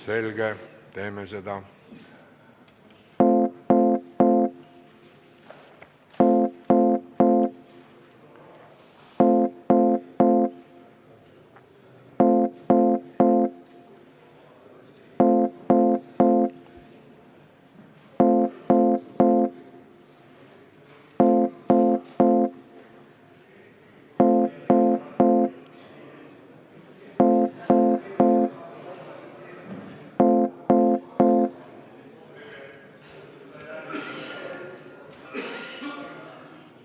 Selge, teeme seda.